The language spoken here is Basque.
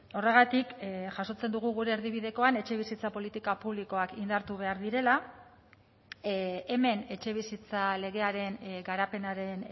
horregatik jasotzen dugu gure erdibidekoan etxebizitza politika publikoak indartu behar direla hemen etxebizitza legearen garapenaren